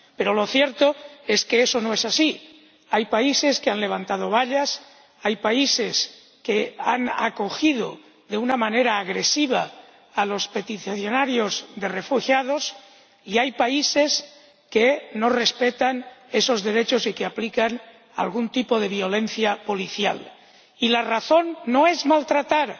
Pero lo cierto es que eso no es así hay países que han levantado vallas, hay países que han acogido de una manera agresiva a los refugiados y hay países que no respetan esos derechos y que aplican algún tipo de violencia policial y la razón no es maltratar